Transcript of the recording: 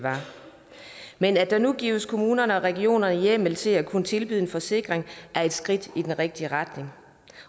var men at der nu gives kommunerne og regionerne hjemmel til at kunne tilbyde en forsikring er et skridt i den rigtige retning